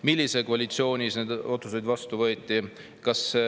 Millises koalitsioonis need otsused vastu võeti?